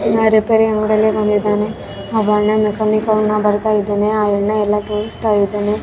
Car repair ಮಾಡಲು ಬಂದಿದಾನೆ ಅವನ್ನ ಮೆಕಾನಿಕ್ ಅಣ್ಣ ಬರ್ತಾ ಇದಾನೆ ಆ ಯನ್ನ ಎಲ್ಲ ತೋರಿಸ್ತ ಇದಾನೆ.